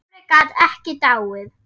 Dóri gat ekki dáið.